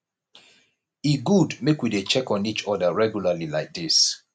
e good make we dey check on each oda regularly like dis